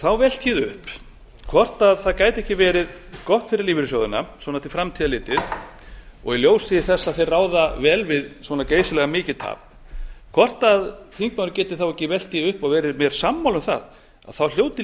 þá velti ég upp hvort það gæti ekki verið gott fyrir lífeyrissjóðina svona til framtíðar litið og í ljósi þess að þeir ráða vel við svona geysilega mikið tap hvort þingmaðurinn geti þá ekki velt því upp og verið mér sammála um það þá hljóti lífeyrissjóðirnir